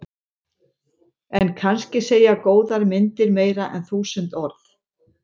En kannski segja góðar myndir meira en þúsund orð.